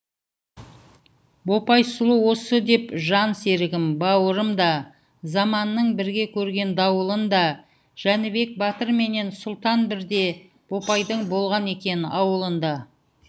бопай сұлу осы деп жан серігім бауырым да заманның бірге көрген дауылын да жәнібек батырменен сұлтан бірде бопайдың болған екен ауылында